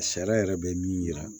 Sariya yɛrɛ bɛ min yira